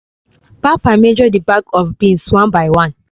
papa measure the bag of beans one by one